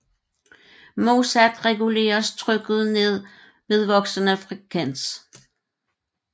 Modsat reguleres trykket ned ved voksende frekvens